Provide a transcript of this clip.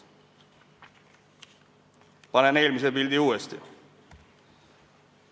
Panen eelmise pildi uuesti.